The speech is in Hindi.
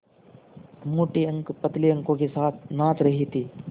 मोटे अंक पतले अंकों के साथ नाच रहे थे